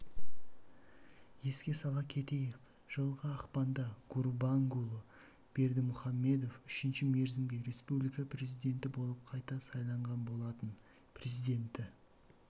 еске сала кетейік жылғы ақпанда гурбангулы бердымұхамедов үшінші мерзімге республика президенті болып қайта сайланған болатын президенті